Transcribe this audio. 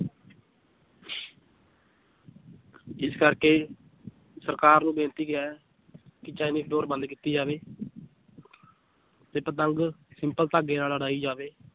ਜਿਸ ਕਰਕੇ ਸਰਕਾਰ ਨੂੰ ਬੇਨਤੀ ਹੈ ਚਾਈਨੀਜ ਡੋਰ ਬੰਦ ਕੀਤੀ ਜਾਵੇ ਤੇ ਪਤੰਗ ਸਿੰਪਲ ਧਾਗੇ ਨਾਲ ਉੱਡਾਈ ਜਾਵੇ